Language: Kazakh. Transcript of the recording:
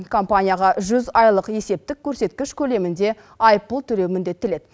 компанияға жүз айлық есептік көрсеткіш көлемінде айыппұл төлеу міндеттеледі